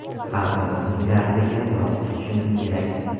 Xalqimizning dardiga quloq tutishimiz kerak.